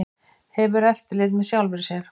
Hefur eftirlit með sjálfri sér